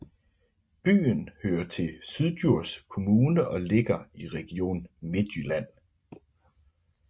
Byen hører til Syddjurs Kommune og ligger i Region Midtjylland